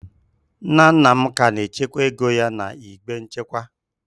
Nna nna m ka na-echekwa ego ya n'igbe nchekwa.